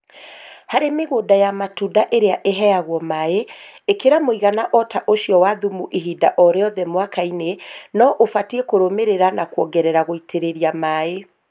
Harĩ mĩgũnda ya matunda ĩrĩa ĩheagwo maĩ ĩkĩra mũigana o ta ũcio wa thumu ihinda o rĩothe mwaka-inĩ no ũbatiĩ kũrũmĩrĩra na kuongerea gũitĩrĩria maĩ